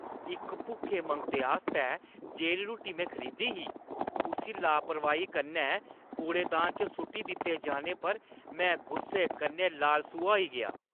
इक भुक्खे मंगते आस्तै जेह्ड़ी रुट्टी में खरीदी ही, उस्सी लापरवाही कन्नै कूड़ेदान च सु'ट्टी दित्ते जाने पर में गुस्से कन्नै लाल सूहा होई गेआ ।